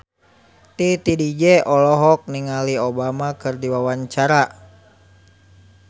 Titi DJ olohok ningali Obama keur diwawancara